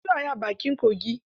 An fi so a yi a bakin kogi.